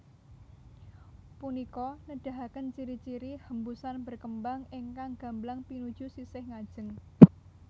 Punika nedahaken ciri ciri hembusan berkembang ingkang gamblang pinuju sisih ngajeng